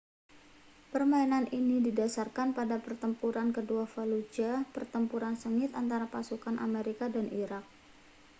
permainan ini didasarkan pada pertempuran kedua fallujah pertempuran sengit antara pasukan amerika dan irak